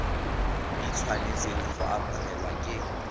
di tshwanetseng go amogelwa ke